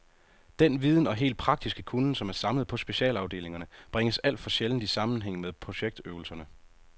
Den viden og helt praktiske kunnen, som er samlet på specialafdelingerne, bringes alt for sjældent i sammenhæng med projektøvelserne.